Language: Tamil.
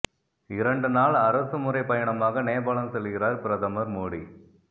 இரண்டு நாள் அரசு முறை பயணமாக நேபாளம் செல்கிறார் பிரதமர் மோடி